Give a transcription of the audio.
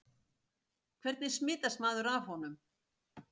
Hvernig smitast maður af honum?